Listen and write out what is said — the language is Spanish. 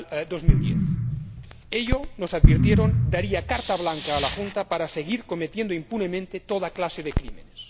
2010. Ello, nos advirtieron, daría carta blanca a la Junta para seguir cometiendo impunemente toda clase de crímenes.